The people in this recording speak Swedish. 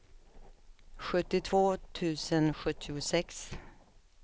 sjuttiotvå tusen sjuttiosex